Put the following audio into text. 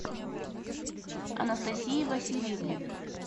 анастасии васильевны